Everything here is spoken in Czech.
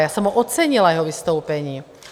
Já jsem ho ocenila, jeho vystoupení.